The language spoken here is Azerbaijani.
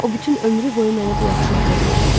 O bütün ömrü boyu mənə bu yaxşılığı eləyəcək.